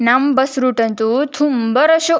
ನಮ್ಮ್ bus route ಅಂತೂ ತುಂಬಾ ರಶ್ .